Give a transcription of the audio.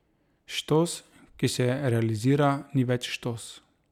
Štos, ki se realizira, ni več štos.